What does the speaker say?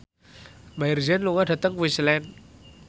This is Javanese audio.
Maher Zein lunga dhateng Queensland